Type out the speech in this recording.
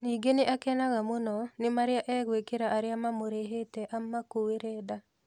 Ningĩ nĩ akenaga mũno nĩ marĩa egwĩkĩra arĩa mamũrĩhete amakuere nda.